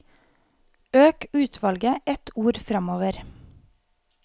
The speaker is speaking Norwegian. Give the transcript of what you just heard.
Øk utvalget ett ord framover